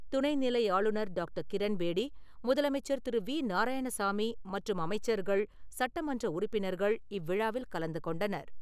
துணை நிலை ஆளுநர் டாக்டர் கிரண் பேடி, முதலமைச்சர் திரு வி நாராயணசாமி மற்றும் அமைச்சர்கள்-சட்டமன்ற உறுப்பினர்கள் இவ்விழாவில் கலந்துகொண்டனர்.